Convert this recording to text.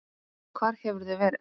Hvar hefurðu verið?